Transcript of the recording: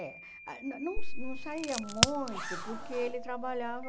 É ah. Não não não saía muito porque ele trabalhava...